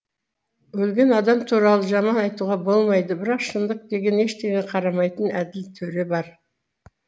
өлген адам туралы жаман айтуға болмайды бірақ шындық деген ештеңеге қарамайтын әділ төре бар